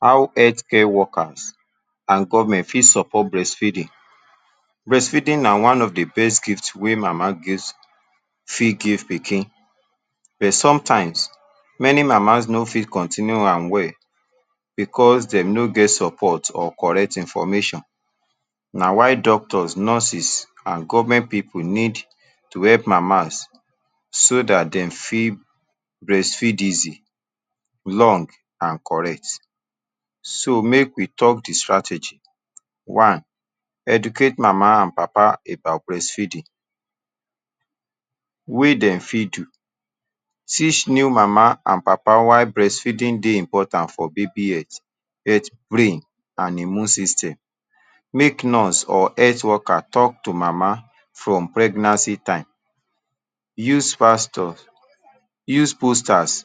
How health care workers and government for support breastfeeding breastfeeding na one of de best gift wey mama fit give pikin but sometimes many mama no fit continue am well because dem no get support or correct information. na why doctors nurses and government pipu need to help mamas so that dem fit breastfeed easy long and correct so make we talk de strategy one educate mama and papa about breastfeeding wey dem fit do teach new mama and papa. why breastfeeding dey important for baby health health, brain, and immune system: make nurse or health worker talk to mama from pregnancy time, use plasters use posters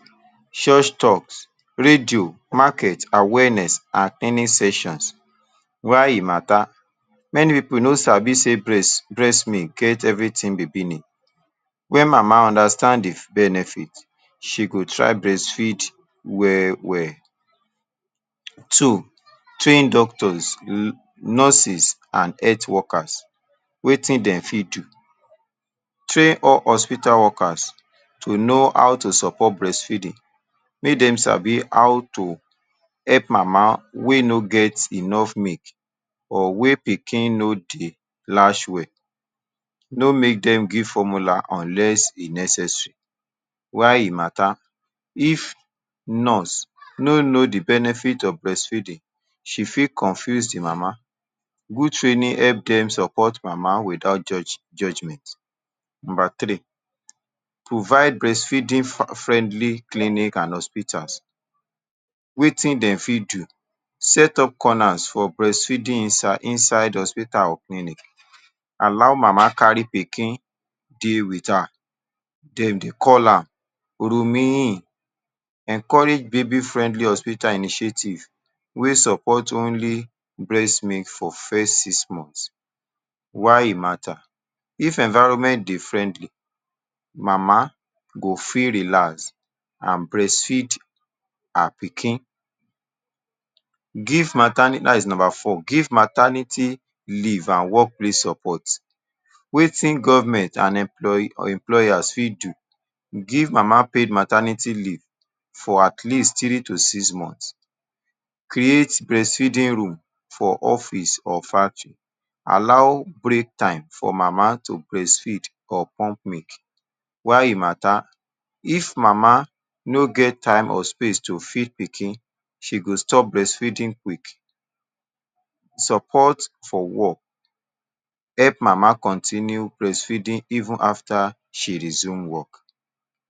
church talks radios markets awareness and any sessions why e matter. many pipu no sabi sey breast milk get everything baby need when mama understand de benefits, she go try breastfeed well well. two train doctors nurses and health workers wetin dem fit do train all hospital workers to know how to support breastfeeding; make dem sabi how to help mama wey no get enough milk or wey pikin no dey latch well no make dem give formula unless e necessary. why e matter if nurse no know de benefit of breastfeeding: she fit confuse de mama good training help dem support mama without judgement. number three provide breastfeeding, friendly clinic and hospitals wetin dem fit do set up corners for breastfeeding inside hospital or clinic allow mama carry pikin dey with her then de call her roomie, encourage baby friendly hospitals initiatives wey support only breast milk for first six months. why e matter if environment dey friendly: mama go fit relax and breastfeed her pikin give maternity that is number four: give maternity leave and work place support. wetin government and employee employers for do give mama: paid maternity leave for at least three to six months, create breastfeeding room for office or factory, allow break time for mama to breastfeed or pump milk. why e mata if mama no get time or space to feed pikin: she go stop breastfeeding quick support for work, help mama continue breastfeeding even after she resume work.